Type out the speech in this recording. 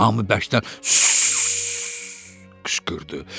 Hamı bəkdən qışqırdı.